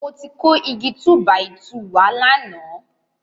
Mo ti kó Igi túbàìtuù wá lánàá.